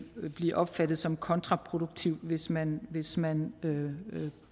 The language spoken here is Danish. blive opfattet som kontraproduktivt hvis man hvis man